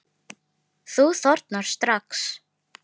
Þú þornar strax.